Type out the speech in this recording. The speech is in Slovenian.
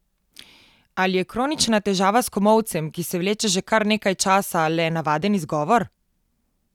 Ali je kronična težava s komolcem, ki se vleče že kar nekaj časa, le navaden izgovor?